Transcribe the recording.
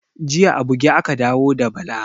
Jiya a buge aka dawo da Bala